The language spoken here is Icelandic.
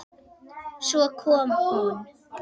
Svo kom hún.